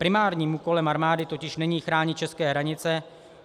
Primárním úkolem armády totiž není chránit české hranice.